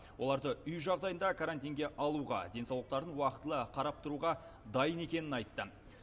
оларды үй жағдайында карантинге алуға денсаулықтарын уақытылы қарап тұруға дайын екенін айтты